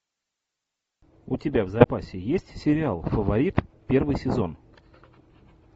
у тебя в запасе есть сериал фаворит первый сезон